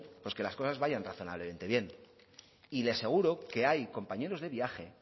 que las cosas vayan razonablemente bien y le aseguro que hay compañeros de viaje